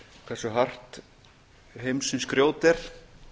hversu hart heimsins grjót er